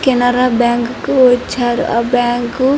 Canara bank కు వచ్చారు ఆ బ్యాంకు --